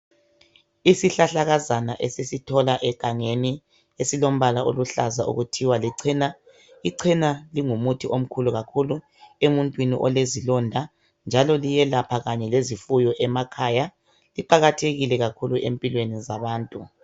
Isihlahlakazana esisithola egangeni esilombala oluhlaza okuthiwa licena. Icena lingumuthi omkhulu kakhulu emuntwini olezilonda njalo liyelapha kanye lezifuyo emakhaya, iqakathekile kakhulu empilweni zabantu.